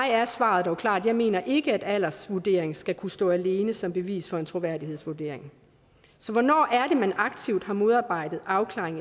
er svaret dog klart jeg mener ikke at aldersvurdering skal kunne stå alene som bevis for en troværdighedsvurdering så hvornår er det at man aktivt har modarbejdet afklaring